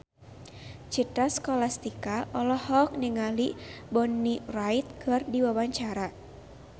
Citra Scholastika olohok ningali Bonnie Wright keur diwawancara